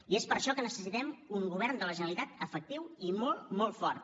i és per això que necessitem un govern de la generalitat efectiu i molt molt fort